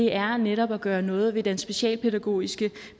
er netop at gøre noget ved den specialpædagogiske